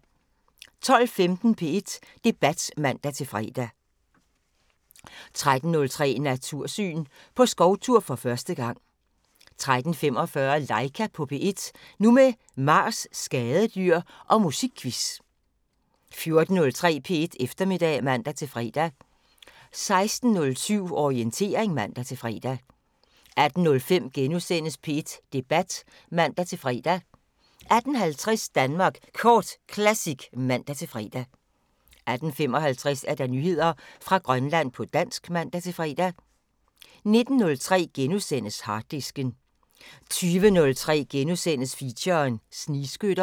12:15: P1 Debat (man-fre) 13:03: Natursyn: På skovtur for første gang 13:45: Laika på P1 – nu med Mars, skadedyr og musikquiz 14:03: P1 Eftermiddag (man-fre) 16:07: Orientering (man-fre) 18:05: P1 Debat *(man-fre) 18:50: Danmark Kort Classic (man-fre) 18:55: Nyheder fra Grønland på dansk (man-fre) 19:03: Harddisken * 20:03: Feature: Snigskytter *